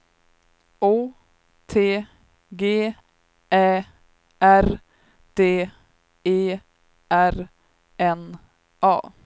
Å T G Ä R D E R N A